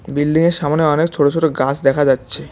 বিল্ডিংয়ের সামোনে অনেক ছোট ছোট গাছ দেখা যাচ্ছে।